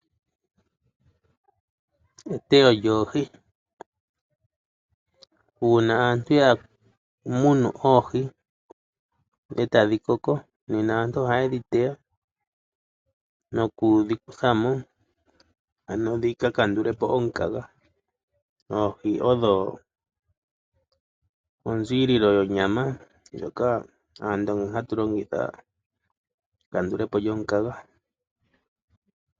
Eteyo lyoohi. Uuna aantu ya munu oohi etadhi koko, nena aantu ohaye dhi teya nokudhi kutha mo ano dhika kandule po omukaga. Oohi odho onziililo yonyama ndjoka ando hatu longitha mekandulepo lyomukaga.